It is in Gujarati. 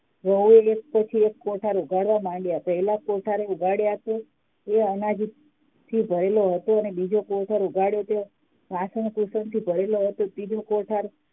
વહુ એક પછી એક કોઠાર ઉગાડવા માંડ્યા હોય પહેલા કોઠાર ઉગાડ્યા તો એ અનાજ થી ભરેલો હતો અને બીજો કોઠાર ઉઘાડો ત્યારે વાસણ ભૂષણથી ભરેલો હતો અને ત્રીજો કોઠાર